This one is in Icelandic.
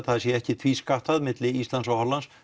það sé ekki tvískattað á milli Íslands og Hollands